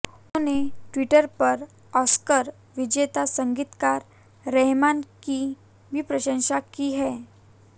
उन्होंने ट्विटर पर ऑस्कर विजेता संगीतकार रहमान की भी प्रशंसा की है